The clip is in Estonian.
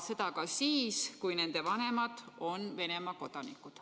Seda ka siis, kui nende vanemad on Venemaa kodanikud.